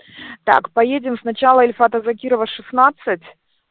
так поедем сначала ильфата закирова шестнадцать